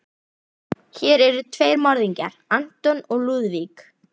Hér eru tveir morðingjar, anton og Lúðvík.